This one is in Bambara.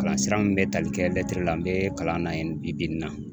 Kalansira min bɛ tali kɛ la n bɛ kalan na yen bi-bi in na